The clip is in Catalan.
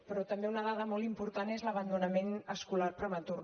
però també una dada molt important és l’abandonament escolar prematur